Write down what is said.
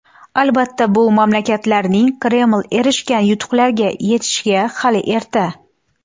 Albatta, bu mamlakatlarning Kreml erishgan yutuqlarga yetishiga hali erta.